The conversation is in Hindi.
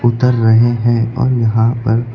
उतर रहे हैं और यहां पर--